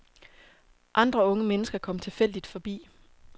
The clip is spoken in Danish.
Andre unge mennesker kom tilfældigt forbi.